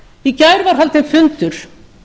í gær var haldinn fundur